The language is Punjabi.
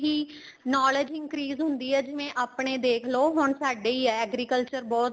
ਇਹੀ knowledge increase ਹੁੰਦੀ ਆ ਜਿਵੇਂ ਆਪਣੇ ਦੇਖਲੋ ਹੁਣ ਸਾਡੇ ਹੀ ਏ agriculture ਬਹੁਤ